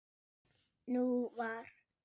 Nú var